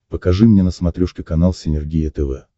покажи мне на смотрешке канал синергия тв